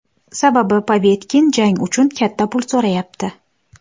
Sababi Povetkin jang uchun katta pul so‘rayapti.